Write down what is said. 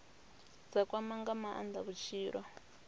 dza kwama nga maanda vhutshilo